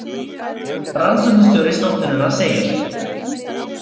Rannsóknastjóri stofnunarinnar segir: